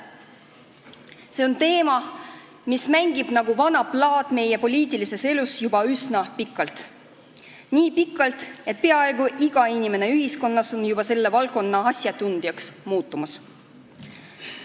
See on teema, mis mängib nagu vana plaat meie poliitilises elus juba üsna pikalt, nii pikalt, et peaaegu iga inimene ühiskonnas on selle valdkonna asjatundjaks muutumas.